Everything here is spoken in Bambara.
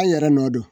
An yɛrɛ nɔ don